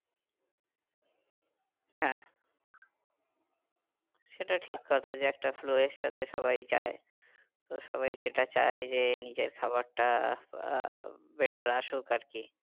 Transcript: হ্যাঁ সেটা ঠিক কথা যে একটা flow এর সাথে সবাই যায়। তো সবাই সেটা চায় যে নিজের খাবারটা আহ better আসুক আর কি